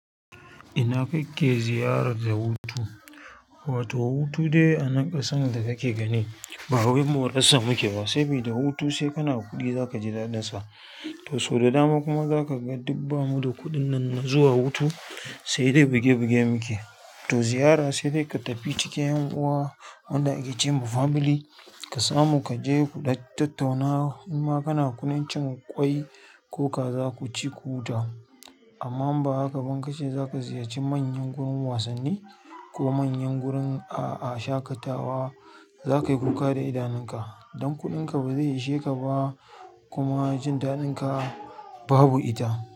Ina kake ziyarar da hutu? Wato hutu dai a nan ƙasar da kake gani bawai morarsa muke ba, sabi da hutu sai kana da kuɗi zakaji daɗin sa to sau da dama kuma za ka ga duk bamu da kuɗin nan na zuwa hutu sai dai iuge bige muke. To ziyara sai dai ka tafi cikin anguwa wanda ake ce ma family ka samu ka je kuɗan tattauna in ma kana da kuɗin cin ƙwai ko kaza, ku ci ku huta. Amma im ba haka ba in kace za ku ziyarci manyan gurin wasanni ko manyan gurin, a'a shaƙatawa za ka yi kuka da idanunka don kuɗinka ba zai ishe ka ba kuma jin daɗin ka babu ita.